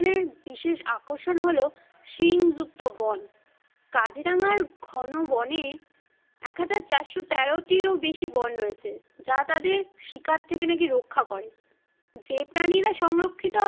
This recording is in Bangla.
বিশেষ আকর্ষণ হলো শিং যুক্ত বন। কাজিরাঙার ঘনো বনে এক হাজার চারশো তেরোটির ও বেশী বন রয়েছে যা তাদের শিকার থেকে নাকি রক্ষা করে। যে প্রাণীরা সংরক্ষিত